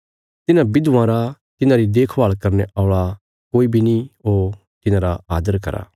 तिन्हां विधवां रा तिन्हांरी देखभाल करने औल़ा कोई बी नीं हो तिन्हांरा आदर करा